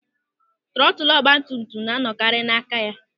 Trọtụl ọgbatumtum na anọkarị n'aka ya.